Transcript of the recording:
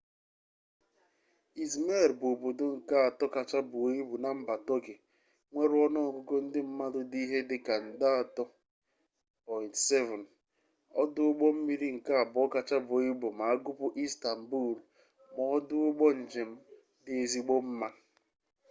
izmir bụ obodo nke atọ kacha buo ibu na mba tọkị nwere ọnụọgụgụ ndị mmadụ dị ihe dịka nde 3 7 ọdụ ụgbọmmiri nke abụọ kacha buo ibu ma a gụpụ istanbulu na ọdụ ụgbọ njem dị ezigbo mma